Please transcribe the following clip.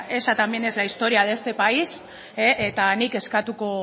esa también es la historia de este país eta nik eskatuko